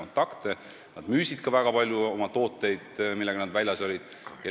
Disainerid müüsid väga palju oma tooteid ja saime ka uusi kontakte.